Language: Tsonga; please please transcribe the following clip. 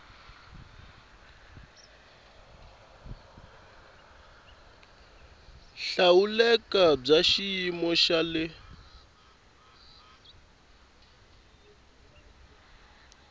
hlawuleka bya xiyimo xa le